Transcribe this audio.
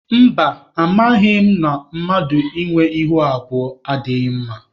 Mba, amaghị m na mmadụ ịnwe ihu abụọ adịghị mma.